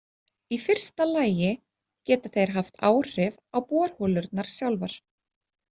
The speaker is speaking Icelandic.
Í fyrsta lagi geta þeir haft áhrif á borholurnar sjálfar.